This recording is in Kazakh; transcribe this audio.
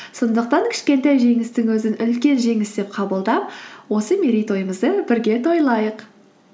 сондықтан кішкентай жеңістігімізді үлкен жеңіс деп қабылдап осы мерейтойымызды бірге тойлайық